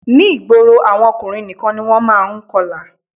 Ní ìgboro àwọn ọkùnrin nìkan ni wọ́n má a n kọlà